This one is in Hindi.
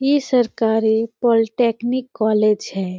ई सरकारी पॉलीटेक्नीक कॉलेज हैं।